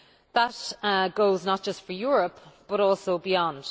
That goes not just for Europe but also beyond.